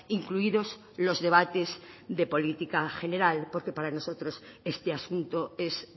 incluidos los debates de política general porque para nosotros este asunto es